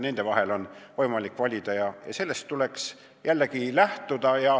Nende vahel oli võimalik valida ja sellest põhimõttest tulekski lähtuda.